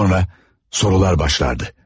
Və sonra, sorular başlardı.